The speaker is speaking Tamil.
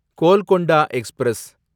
கோல்கொண்டா எக்ஸ்பிரஸ்